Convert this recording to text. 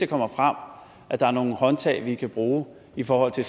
kommer frem at der er nogle håndtag vi kan bruge i forhold til